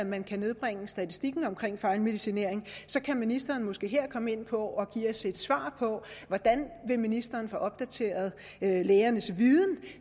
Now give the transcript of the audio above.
man kan nedbringe statistikken for fejlmedicinering kan ministeren måske her komme ind på og give os et svar på hvordan ministeren vil få opdateret lægernes viden